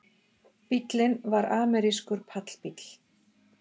Bíllinn var amerískur pallbíll